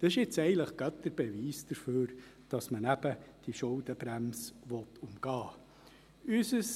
Dies ist eigentlich gerade der Beweis, dass man diese Schuldenbremse eben umgehen will.